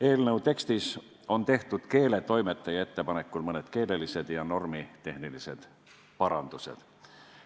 Eelnõu tekstis on tehtud keeletoimetaja ettepanekul mõned keelelised ja normitehnilised parandused.